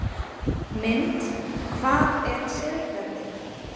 Mynd: Hvað er siðferði?